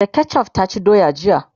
da ketchuf ta ci doya jiya